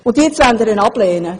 Jetzt wollen Sie ihn ablehnen.